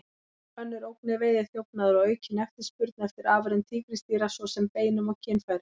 Önnur ógn er veiðiþjófnaður og aukin eftirspurn eftir afurðum tígrisdýra, svo sem beinum og kynfærum.